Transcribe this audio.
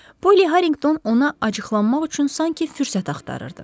Polly Harrington ona acıqlanmaq üçün sanki fürsət axtarırdı.